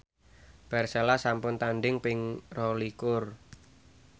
Persela sampun tandhing ping rolikur